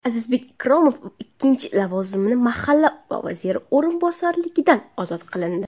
Azizbek Ikromov ikkinchi lavozimi mahalla vaziri o‘rinbosarligidan ozod qilindi.